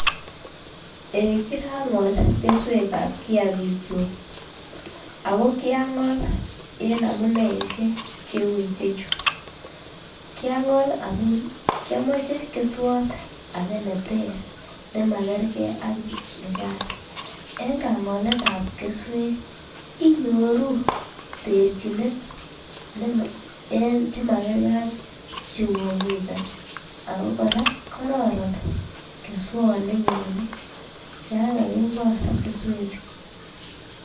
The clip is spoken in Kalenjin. Eh kirangol keswekab kiyakik chuk ako kiangol en amuneishek cheu ichechu. Kiangol amun kiomoche keswot age neter nemakergee ak nikan, en kangoletab kesuek inyoruu terchinet en chemakergee ak chuu komiten ako koraa kororon keswot nenyon yon kakingol keswek chuu.